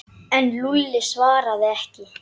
En Lúlli svaraði ekki.